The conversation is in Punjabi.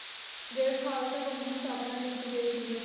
ਜਿਹੜੇ ਖ਼ਾਲਸਾ ਪੰਥ ਦੀ ਸਥਾਪਨਾ ਕੀਤੀ ਗਈ ਸੀਗੀ।